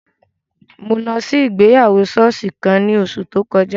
Mo lọ si igbeyawo sooṣi kan ni oṣu to kọja